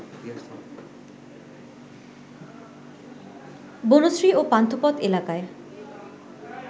বনশ্রী ও পান্থপথ এলাকায়